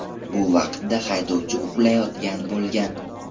Bu vaqtda haydovchi uxlayotgan bo‘lgan.